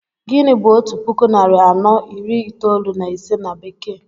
Gịnị bu otu puku narị anọ iri itoolu na ise na bekee?